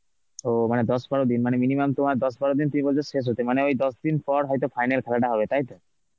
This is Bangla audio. ওহ, মানে দশ বারো দিন মানে minimum তোমার দশ বারো দিন তুমি বলছো শেষ হতে মানে ওই দশ দিন পর হয়তো final খেলাটা হবে, তাইতো?